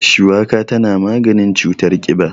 Shuwaka tana maganin cutar ƙiba.